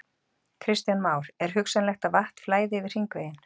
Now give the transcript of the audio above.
Kristján Már: Er hugsanlegt að vatn flæði yfir hringveginn?